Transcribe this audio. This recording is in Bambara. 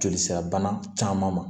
Joli sira bana caman ma